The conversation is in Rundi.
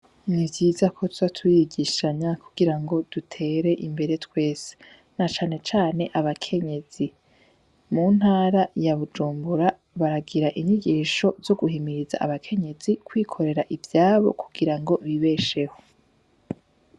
Ni vyiza ko tuza turigishanya kugira ngo dutere imbere twese, na cane cane abakenyezi mu ntara ya bujumbura baragira inyigisho zo guhimiriza abakenyezi kwikorera ivyabo kugira ngo bibesheho.